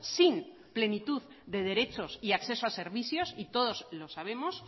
sin plenitud de derechos y acceso a servicios y todos los sabemos